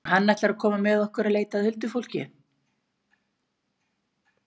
Svo ætlar hann að koma með okkur að leita að huldufólki.